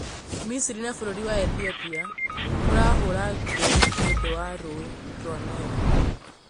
Misiri na Bũrũri wa Ethiopia kwarahũra ngũĩ nĩũndũ wa rũĩ rwa Nile